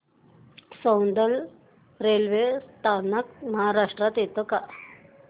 Soundad railway स्थानक महाराष्ट्रात येतं का